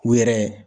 U yɛrɛ